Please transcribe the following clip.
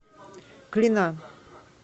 клина